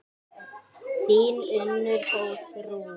Þín Unnur Guðrún.